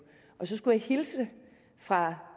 så skulle jeg hilse fra